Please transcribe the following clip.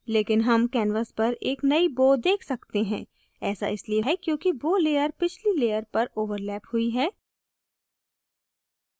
लेकिन हम canvas पर एक नयी bow देख सकते हैं ऐसा इसलिए है क्योंकि bow layer पिछली layer पर ओवरलैप हुई है